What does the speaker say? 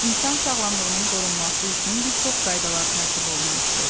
İnsan sağlamlığının qorunması üçün bir çox qaydalar tərtib olunmuşdu.